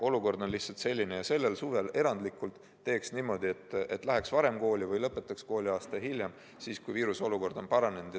Olukord on lihtsalt selline ja sellel suvel erandlikult teeks niimoodi, et läheks varem kooli või lõpetaks kooliaasta hiljem, kui viirusolukord on paranenud.